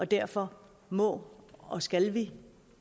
derfor må og skal vi